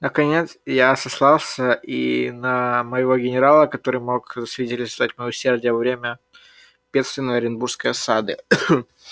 наконец я сослался и на моего генерала который мог засвидетельствовать моё усердие во время бедственной оренбургской осады